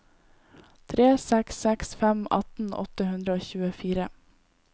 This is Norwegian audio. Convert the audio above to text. tre seks seks fem atten åtte hundre og tjuefire